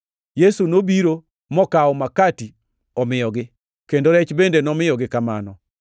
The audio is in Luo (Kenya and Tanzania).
Yesu nobiro mokawo makati omiyogi, kendo rech bende nomiyogi kamano.